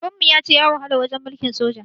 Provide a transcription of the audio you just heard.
Baban mu ya ce ya wahala lokacin mulkin soja.